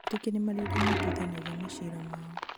o etĩkia nimarĩ ũrĩa matuithanagia macira mao